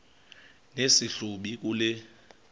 nesi hlubi kule